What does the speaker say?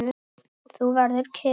Þú verður kyrr.